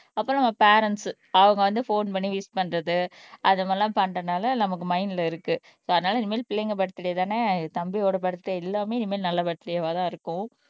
அப்புறம் நம்ம பேரன்ட்ஸ் அவங்க வந்து போன் பண்ணி விஷ் பண்றது அதுங்கல்லாம் பண்றதுனால நமக்கு மைண்ட்ல இருக்கு சோ அதனால இனிமேல் பிள்ளைங்க பர்த்டே தானே இது தம்பியோட பர்த்டே எல்லாமே இனிமேல் நல்ல பர்த்டே வாதான் இருக்கும்